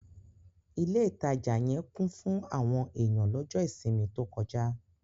Ilé ìtajà yẹn kún fún àwọn èyàn lọ́jọ́ ìsinmi tó kọjá.